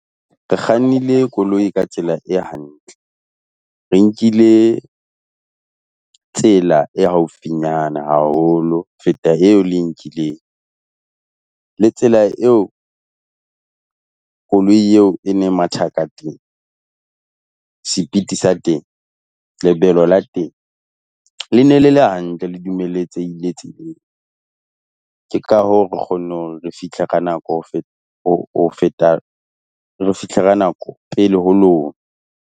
Re kgannile koloi ka tsela e hantle. Re nkile tsela e haufinyana haholo feta eo le e nkileng. Le tsela eo koloi eo e ne matha ka teng, sepiti sa teng, lebelo la teng le ne le le hantle le dumeletsehile tseleng. Ke ka hoo, re kgonne hore re fihle ka nako ho ho feta re fihle ka nako pele ho lona.